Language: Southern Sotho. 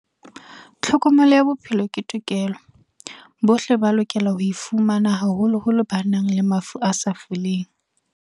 Tlhokomelo ya bophelo ke tokelo. Bohle ba lokela ho e fumana haholoholo ba nang le mafu a sa foleng.